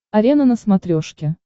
арена на смотрешке